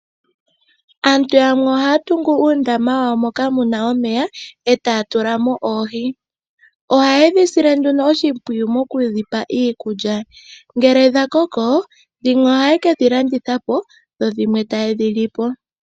Aantu yamwe ohaya tungu uundama wa wo moka muna omeya, e taya tula mo oohi, ohaye dhi sile nduno oshimpwiyu mokudhipa iikulya, ngele dha koko dhimwe ohaye kedhi landitha po, dho dhimwe taye dhi li po.